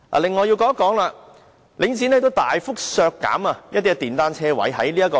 另外，我也想說說領展大幅削減電單車車位。